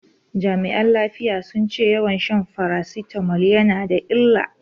Jami'an lafiya sun ce yawan shan farasitamol yana da illa.